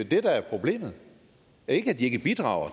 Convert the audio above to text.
det der er problemet ikke at de ikke bidrager